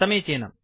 समीचीनम्